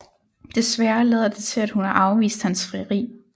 Desværre lader det til at hun har afvist hans frieri